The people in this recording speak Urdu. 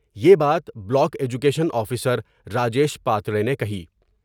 یہ بات block education officer Rajesh Pandey نے کہی ۔